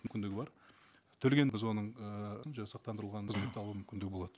мүмкіндігі бар төлеген біз оның ыыы сақтандырылған біз оны табу мүмкіндігі болады